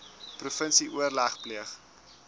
provinsie oorleg pleeg